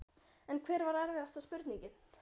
En hver var erfiðasta spurningin?